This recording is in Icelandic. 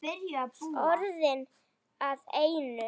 Orðin að einu.